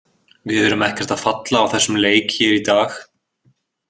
Við erum ekkert að falla á þessum leik hér í dag.